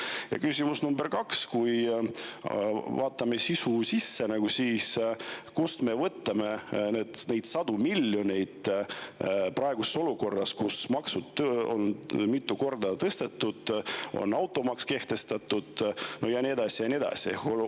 Ja küsimus number kaks: kui vaatame sisu, siis kust me võtame need sajad miljonid praeguses olukorras, kus makse on mitu korda tõstetud, automaks on kehtestatud ja nii edasi?